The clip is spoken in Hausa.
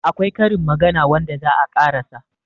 akwai Karin magana wanda za a ƙarasa